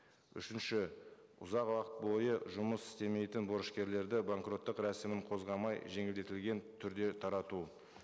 үшінші ұзақ уақыт бойы жұмыс істемейтін борышкерлерді банкроттық рәсімін қозғамай жеңілдетілген түрде тарату